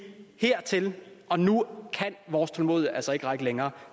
hertil og nu kan vores tålmodighed altså ikke række længere